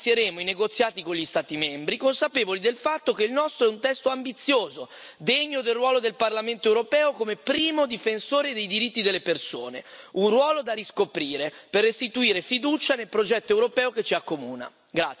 Ora inizieremo i negoziati con gli Stati membri, consapevoli del fatto che il nostro è un testo ambizioso, degno del ruolo del Parlamento europeo quale primo difensore dei diritti delle persone, un ruolo da riscoprire per restituire fiducia nel progetto europeo che ci accomuna.